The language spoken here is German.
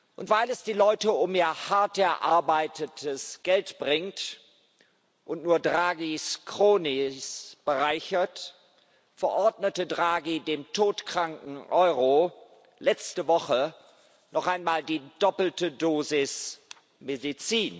Und weil es die Leute um ihr hart erarbeitetes Geld bringt und nur Draghis cronies bereichert, verordnete Draghi dem todkranken Euro letzte Woche noch einmal die doppelte Dosis Medizin.